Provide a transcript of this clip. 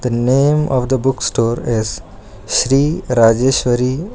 the name of the book store is sri rajeshwari.